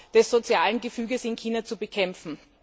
des sozialen Gefüges in China zu bekämpfen.